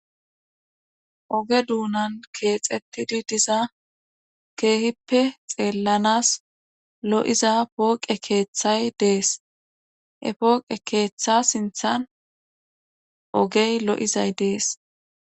Oge duunan keexettidi diza keehippe xeellanas lo7iza pooqe keeththay dees e pooqe keeththa sinthan ogey lo7izay dees